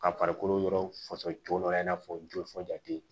Ka farikolo yɔrɔ fɔsɔn cogo dɔ la i n'a fɔ joli fɔ jati